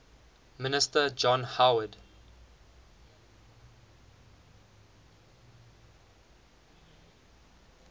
minister john howard